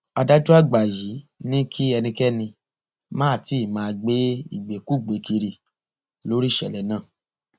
adájọ àgbà yìí ni kí ẹnikẹni má tí ì máa gbé ìgbékúgbèé kiri lórí ìṣẹlẹ náà